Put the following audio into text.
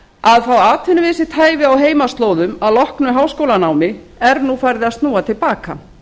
að fá atvinnu við sitt hæfi á heimaslóðum að loknu háskólanámi er nú farið að snúa til baka